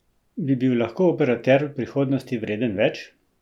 Bi bil lahko operater v prihodnosti vreden več?